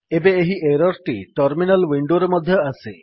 ଏବେ ଏହି ଏରର୍ ଟି ଟର୍ମିନାଲ୍ ୱିଣ୍ଡୋରେ ମଧ୍ୟ ଆସେ